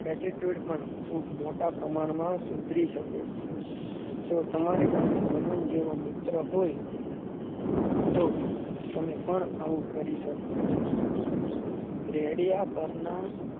Attitude પણ ખુબ મોટા પ્રમાણમાં સુધરી શકે છે. તો તમારી પાસે જહોન જેવો મિત્ર હોય તો તમે પણ આવું કરી શકો છો. રેડિયા પરના